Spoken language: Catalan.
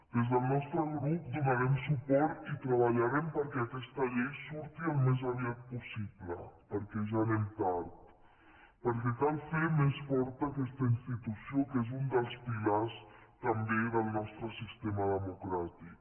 des del nostre grup hi donarem suport i treballarem perquè aquesta llei surti al més aviat possible perquè ja anem tard perquè cal fer més forta aquesta institució que és un dels pilars també del nostre sistema democràtic